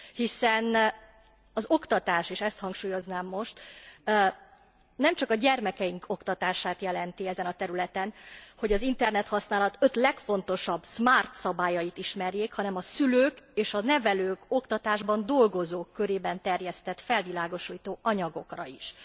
Hiszen az oktatás, és ezt hangsúlyoznám most, nemcsak a gyermekeink oktatását jelenti ezen a területen, hogy az internethasználat öt legfontosabb smart szabályait ismerjék, hanem a szülők és a nevelők, oktatásban dolgozók körében terjesztett felvilágosító anyagokra is.